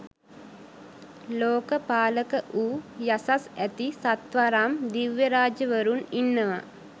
ලෝකපාලක වූ යසස් ඇති සත්වරම් දිව්‍යරාජවරුන් ඉන්නවා.